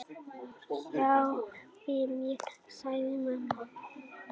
Hjálpi mér, sagði mamma.